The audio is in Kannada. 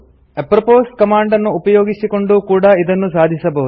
ಅಪ್ರೊಪೊಸ್ ಕಮಾಂಡ್ ನ್ನು ಉಪಯೋಗಿಸಿಕೊಂಡೂ ಕೂಡಾ ಇದನ್ನು ಸಾಧಿಸಬಹುದು